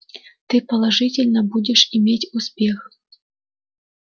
ты положительно будешь иметь успех